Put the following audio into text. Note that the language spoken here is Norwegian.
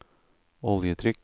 oljetrykk